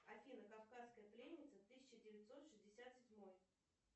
афина кавказская пленница тысяча девятьсот шестьдесят седьмой